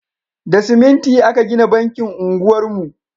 Da siminti aka gina bankin unguwar mu